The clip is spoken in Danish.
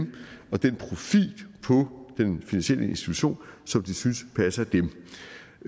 den profil på den finansielle institution som de synes passer dem